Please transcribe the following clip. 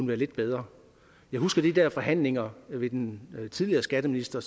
være lidt bedre jeg husker de der forhandlinger med den tidligere skatteminister